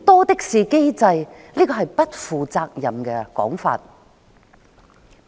這是不負責任的說法。